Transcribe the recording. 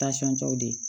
tɔw de